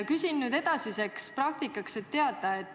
Küsin edasise praktika tarbeks, et teada.